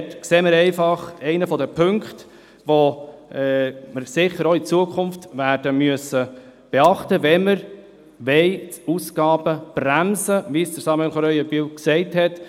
Dort sehe ich einen der Punkte, welche wir auch in Zukunft beachten müssen, sofern wir die Ausgaben bremsen wollen, wie es Samuel Krähenbühl gesagt hat.